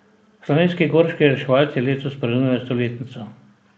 Slovenski gorski reševalci letos praznujejo stoletnico.